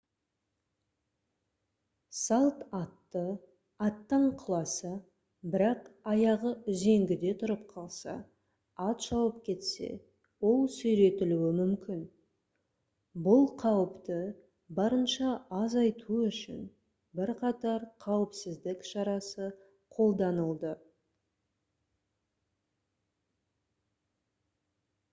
салт атты аттан құласа бірақ аяғы үзеңгіде тұрып қалса ат шауып кетсе ол сүйретілуі мүмкін бұл қауіпті барынша азайту үшін бірқатар қауіпсіздік шарасы қолданылды